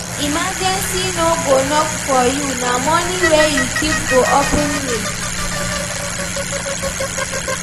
Emergency no go knock for you na money wey we keep go open way.